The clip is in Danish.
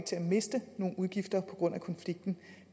til at miste nogen udgifter på grund af konflikten